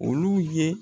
Olu ye